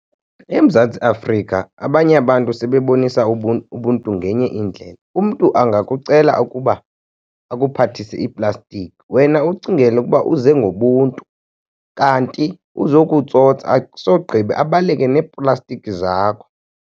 EMzantsi Afrika abanye abantu sebebonisa ubuntu ngenye indlela. Umntu angakucela ukuba akuphathise iiplastiki, wena ucingele ukuba uze ngobuntu kanti uzokutsotsa asogqiba abaleke neeplastiki zakho.